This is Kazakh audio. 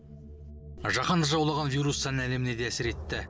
жаһанды жаулаған вирус сән әлеміне де әсер етті